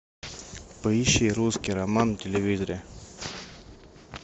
поищи русский роман на телевизоре